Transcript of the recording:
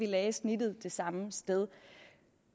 lagde snittet det samme sted